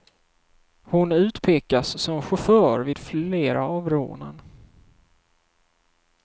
Hon utpekas som chaufför vid flera av rånen.